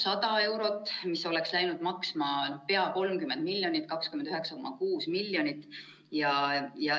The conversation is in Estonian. See oleks läinud maksma pea 30 miljonit, täpsemalt 29,6 miljonit.